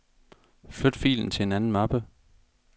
Flyt filen til en anden mappe.